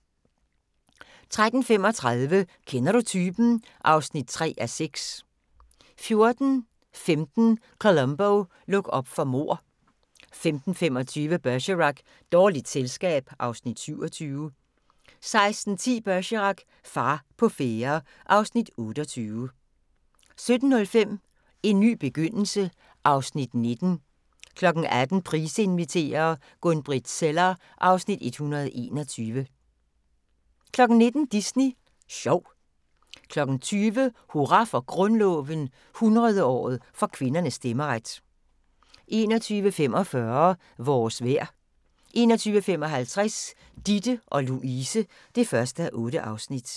13:35: Kender du typen? (3:6) 14:15: Columbo: Luk op for mord 15:25: Bergerac: Dårligt selskab (Afs. 27) 16:10: Bergerac: Far på færde (Afs. 28) 17:05: En ny begyndelse (Afs. 19) 18:00: Price inviterer - Gun-Britt Zeller (Afs. 121) 19:00: Disney Sjov 20:00: Hurra for Grundloven – 100-året for kvindernes stemmeret 21:45: Vores vejr 21:55: Ditte & Louise (1:8)